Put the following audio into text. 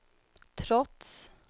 trots